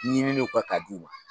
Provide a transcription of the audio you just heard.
Ɲininiw kɛ ka d'u ma